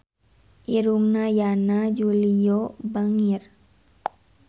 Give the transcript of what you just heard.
Irungna Yana Julio bangir